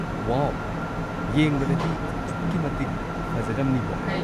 ꯋꯥꯎ! ꯌꯦꯡꯕꯗꯗꯤ ꯑꯗꯨꯛꯀꯤꯃꯇꯤꯛ ꯐꯖꯔꯝꯅꯤꯕꯣ꯫